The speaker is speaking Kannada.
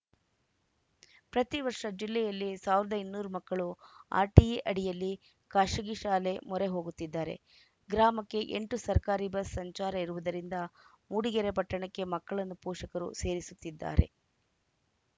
ಪ್ರತಿವರ್ಷ ಜಿಲ್ಲೆಯಲ್ಲಿ ಸಾವಿರದ ಇನ್ನೂರು ಮಕ್ಕಳು ಆರ್‌ಟಿಇ ಅಡಿಯಲ್ಲಿ ಖಾಸಗಿ ಶಾಲೆ ಮೊರೆ ಹೋಗುತ್ತಿದ್ದಾರೆ ಗ್ರಾಮಕ್ಕೆ ಎಂಟು ಸರಕಾರಿ ಬಸ್‌ ಸಂಚಾರ ಇರುವುದರಿಂದ ಮೂಡಿಗೆರೆ ಪಟ್ಟಣಕ್ಕೆ ಮಕ್ಕಳನ್ನು ಪೋಷಕರು ಸೇರಿಸುತ್ತಿದ್ದಾರೆ